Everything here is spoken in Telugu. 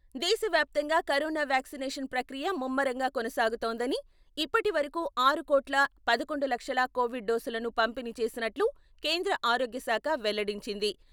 దేశవ్యాప్తంగా కరోనా వ్యాక్సినేషన్ ప్రక్రియ ముమ్మరంగా కొనసాగుతోందని, ఇప్పటివరకు ఆరు కోట్ల పదకొండు లక్షల కొవిడ్ డోసులను పంపిణీ చేసినట్లు కేంద్ర ఆరోగ్యశాఖ వెల్లడించింది.